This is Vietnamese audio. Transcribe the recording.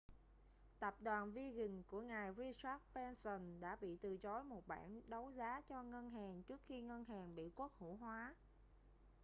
tập đoàn virgin của ngài richard branson đã bị từ chối một bản đấu giá cho ngân hàng trước khi ngân hàng bị quốc hữu hóa